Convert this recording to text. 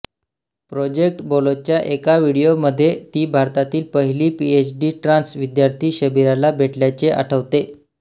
project बोलोच्या एका व्हिडिओमध्ये ती भारतातील पहिली पीएचडी ट्रान्स विद्यार्थी शबीराला भेटल्याचे आठवते